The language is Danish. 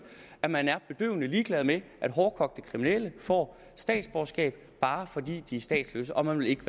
at man er bedøvende ligeglad med at hårdkogte kriminelle får statsborgerskab bare fordi de er statsløse og man vil ikke